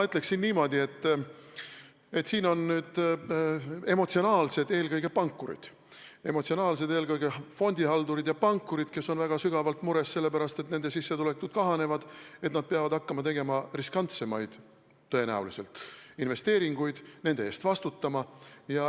Ütleksin niimoodi, et siin on nüüd emotsionaalsed eelkõige pankurid ja fondihaldurid, kes on väga sügavalt mures, sest nende sissetulekud kahanevad, sest nad peavad tõenäoliselt hakkama tegema riskantsemaid investeeringuid ja nende eest vastutama.